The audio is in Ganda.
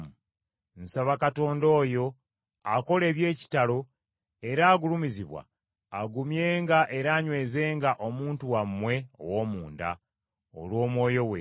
Nsaba Katonda oyo akola eby’ekitalo era agulumizibwa, agumyenga era anywezenga omuntu wammwe ow’omunda, olw’Omwoyo we,